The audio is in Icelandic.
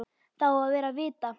Það á að vera vita.